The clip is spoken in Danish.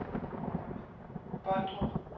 Båndrup